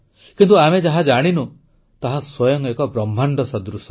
କିନ୍ତୁ ଯାହା ଆମେ ଜାଣିନୁ ତାହା ସ୍ୱୟଂ ଏକ ବ୍ରହ୍ମାଣ୍ଡ ସଦୃଶ